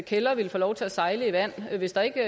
kælder ville få lov til at sejle i vand hvis der ikke